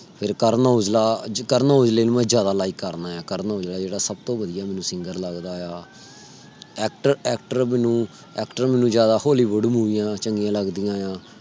ਫਿਰ ਕਰਨ ਔਜਲਾ ਮੈਂ ਕਰਨ ਔਜਲੇ ਨੂੰ ਜਿਆਦਾ like ਕਰਨਾ ਆ। ਕਰਨ ਔਜਲਾ ਜੇੜਾ ਮੈਨੂੰ ਸਬ ਤੋਂ ਵਧੀਆ singer ਲੱਗਦਾ ਆ। actor ਮੈਨੂੰ ਜਿਆਦਾ hollywood ਮੂਵੀਆਂ ਚੰਗੀਆਂ ਲੱਗਦੀ ਆ।